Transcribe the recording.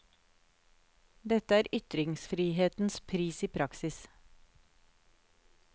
Dette er ytringsfrihetens pris, i praksis.